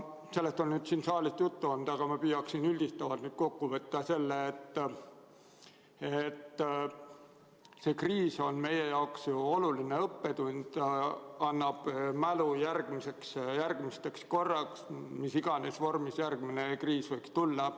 Sellest on siin saalis juttu olnud, aga ma püüaksin üldistavalt kokku võtta selle, et see kriis on meie jaoks oluline õppetund, annab mälu järgmiseks korraks, mis iganes vormis järgmine kriis võiks tulla.